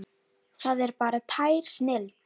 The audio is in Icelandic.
Það er bara tær snilld.